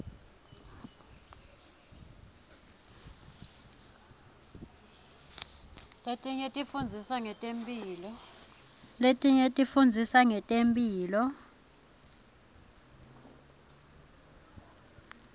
letinye tifundzisa ngetemphilo